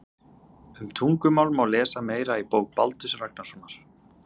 Um tungumál má lesa meira í bók Baldurs Ragnarssonar.